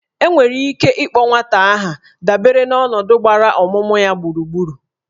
E nwere ike ịkpọ nwata aha dabere n'ọnọdụ gbara ọmụmụ ya gburugburu